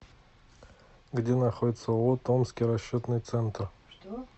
где находится ооо томский расчетный центр